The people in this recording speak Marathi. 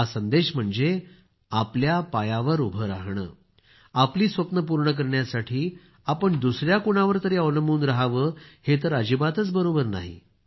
हा संदेश आहे तो म्हणजे आपल्या पायावर उभं राहणं आपली स्वप्नं पूर्ण करण्यासाठी आपण दुसया कुणावर तरी अवलंबून रहावं हे तर अजिबातच बरोबर नाही